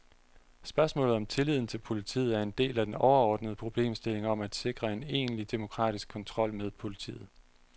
Spørgsmålet om tilliden til politiet er en del af den overordnede problemstilling om at sikre en egentlig demokratisk kontrol med politiet.